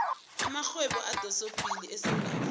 amarhwebo adosaphambili esewula afrikha